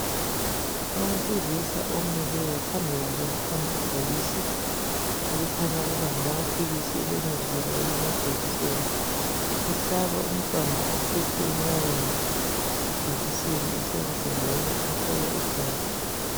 Owesilisa omileyo. Phambi kwakhe kukhona ibhokisi elikhanya ukuba ngelamaphilisi elemithi loba elamajekiseni. Uhlaba umntwana ophethwe enyaweni ijekiseni esandleni loba umhlola igazi.